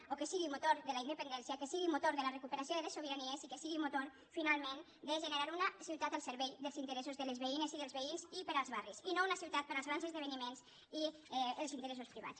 o que sigui motor de la independència que sigui motor de la recuperació de les sobiranies i que sigui motor finalment de generar una ciutat al servei dels interessos de les veïnes i dels veïns i per als barris i no una ciutat per als grans esdeveniments i els interessos privats